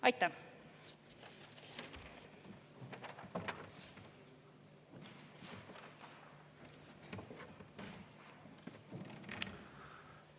Aitäh!